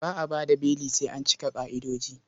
Ba a ba da beli sai an cika ƙa'idoji.